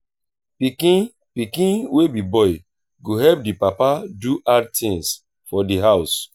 pikin pikin wey be boy go help di papa do hard tins for di house